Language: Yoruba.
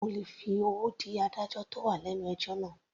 Sé mo lè fi owó dí adájọ́ tó wà lẹ́nu ẹjọ́ náà.